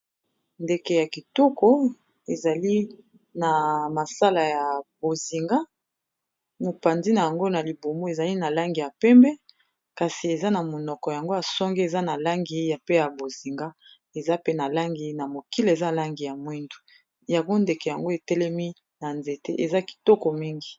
ndeke ya kitoko ezali na ya langi ya bozinga mopanzi na yango na libumu ezali na langi ya pembe kasi eza na monoko yango ya songe eza na langi ya bozinga eza pe na langi na mokila eza langi ya mwindu yango ndeke yango etelemi na nzete eza kitoko mingi